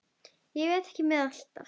Veit ekki með þetta alltaf.